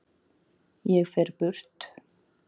Ég fer burt.